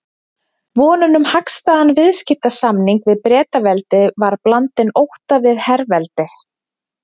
Vonin um hagstæðan viðskiptasamning við Bretaveldi var blandin ótta við herveldi